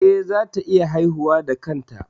Eh, za ta iya haihuwa da kanta